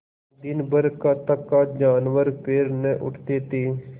दिनभर का थका जानवर पैर न उठते थे